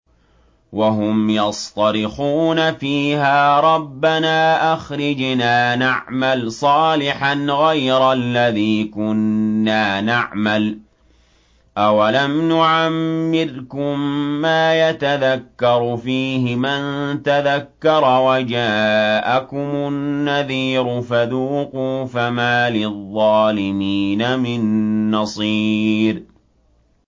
وَهُمْ يَصْطَرِخُونَ فِيهَا رَبَّنَا أَخْرِجْنَا نَعْمَلْ صَالِحًا غَيْرَ الَّذِي كُنَّا نَعْمَلُ ۚ أَوَلَمْ نُعَمِّرْكُم مَّا يَتَذَكَّرُ فِيهِ مَن تَذَكَّرَ وَجَاءَكُمُ النَّذِيرُ ۖ فَذُوقُوا فَمَا لِلظَّالِمِينَ مِن نَّصِيرٍ